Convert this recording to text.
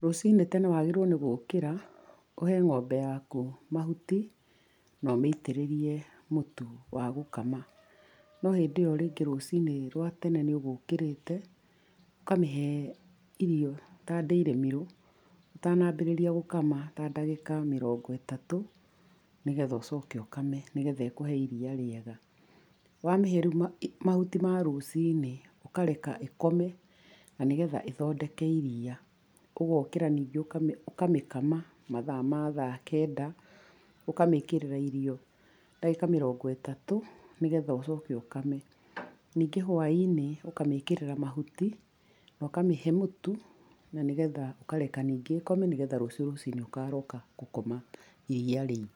Rũcinĩ tene wagĩrĩirwo nĩ gũkĩra, ũhe ng'ombe yaku mahuti, na ũmĩitĩrĩrie mũtu wa gũkama. No hindĩ ĩyo rĩngĩ rũcinĩ rwa tene nĩũgũkĩrĩte, ũkamĩhe irio ta dairymeal ũtanambĩrĩria gũkama, ta ndagĩka mĩrongo ĩtatũ, negetha ũcoke ũkame nĩgetha ĩkũhe iria rĩega. Wamĩhe rĩũ ma mahuti ma rũcinĩ, ũkareka ĩkome, na nĩgetha ĩthondeke iria. Ũgokĩra ningĩ ũkamĩ ũkamĩ kama mathaa ma thaa kenda, ũkamĩkĩrĩra irio ndagĩka mĩrongo ĩtatũ, nĩgetha ũcoke ũkame. Ningĩ hwainĩ, ũkamĩkĩrĩra mahuti, na ũkamĩhe mũtu, na nĩgetha ũkareka ningĩ ĩkome nĩgetha rũciũ rũcinĩ ũkaroka gũkama iria rĩingĩ.